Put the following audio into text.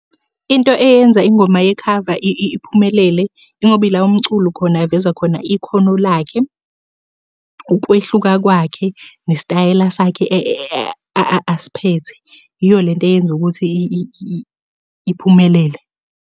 Into eyenza ingoma yekhava iphumelele, ingoba ila umculi khona eveza khona ikhono lakhe, ukwehluka kwakhe, nesitayela sakhe asiphethe. Iyo le nto eyenza ukuthi iphumelele.